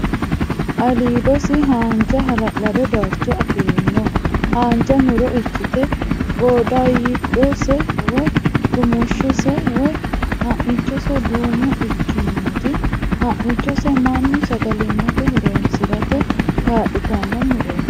Aliidose haanja hala'lado darcho afi'rino haanja muro ikkite giddooydose woy rumushshose woy ha'michose duumo ikkinoti ha'michose mannu sagalimmate ho'roonsirate kaa'litanno murooti.